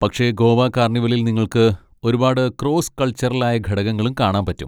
പക്ഷെ ഗോവ കാർണിവലിൽ നിങ്ങൾക്ക് ഒരുപാട് ക്രോസ്സ് കൾച്ചറലായ ഘടകങ്ങളും കാണാൻ പറ്റും.